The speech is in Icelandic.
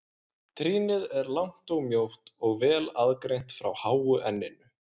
Trýnið er langt og mjótt og vel aðgreint frá háu enninu.